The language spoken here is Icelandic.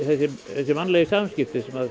þessi mannlegu samskipti sem